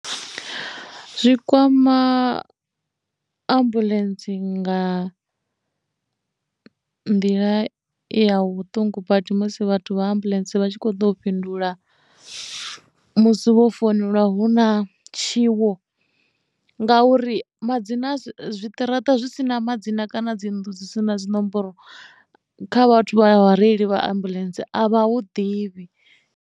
Zwi kwama ambuḽentse nga nḓila ya vhuṱungu badi musi vhathu vha ambuḽentse vha tshi kho ḓo fhindula musi vho founelwa hu na tshiwo ngauri madzina zwiṱaraṱa zwi si na madzina kana dzi nnḓu dzi si na dzinomboro kha vhathu vha vhareili vha ambuḽentse a vha hu ḓivhi.